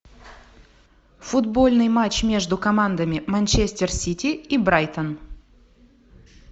футбольный матч между командами манчестер сити и брайтон